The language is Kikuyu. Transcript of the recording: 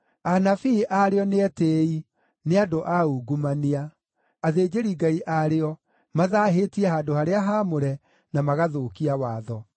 Anabii aarĩo nĩ etĩĩi; nĩ andũ a ungumania. Athĩnjĩri-Ngai aarĩo mathaahĩtie handũ-harĩa-haamũre, na magathũkia watho.